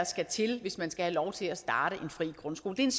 skal til hvis man skal have lov til at starte en fri grundskole det er